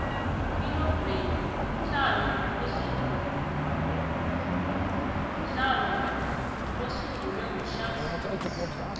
queen of rain mdlalo osunqukwe nqushhack speex